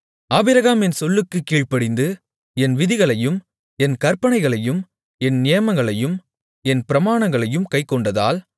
Abraham என் சொல்லுக்குக் கீழ்ப்படிந்து என் விதிகளையும் என் கற்பனைகளையும் என் நியமங்களையும் என் பிரமாணங்களையும் கைக்கொண்டதால்